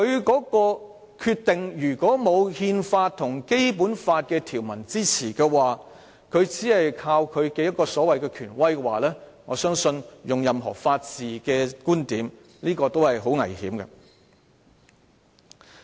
欠缺憲制理據或法律基礎，人大常委會只依靠其權威行使其權力，我相信無論以任何法治觀點來看，也是很危險的。